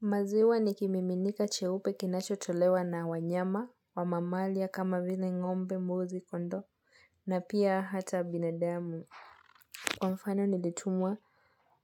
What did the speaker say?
Maziwa nikimiminika cheupe kinacho tolewa na wanyama wa mamalia kama vile ngombe, mbuzi, kondo na pia hata binadamu. Kwa mfano nilitumwa